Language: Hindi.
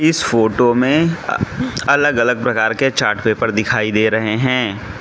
इस फोटो में अलग अलग प्रकार के चार्ट पेपर दिखाई दे रहें हैं।